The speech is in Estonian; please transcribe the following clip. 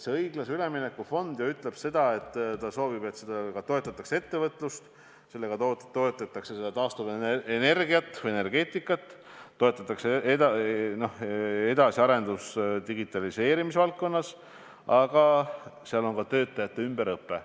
Õiglase ülemineku fondi puhul öeldakse, et sellega soovitakse toetada ettevõtlust, taastuvenergiat või -energeetikat, arendustöid digitaliseerimise valdkonnas, aga ka töötajate ümberõpet.